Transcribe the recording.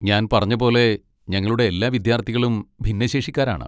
ഞാൻ പറഞ്ഞപോലെ ഞങ്ങളുടെ എല്ലാ വിദ്യാർത്ഥികളും ഭിന്നശേഷിക്കാരാണ്.